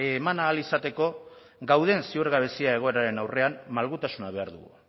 eman ahal izateko dauden ziurgabezia egoeraren aurrean malgutasuna behar dugu